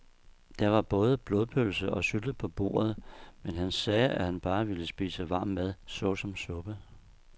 Der var både blodpølse og sylte på bordet, men han sagde, at han bare ville spise varm mad såsom suppe.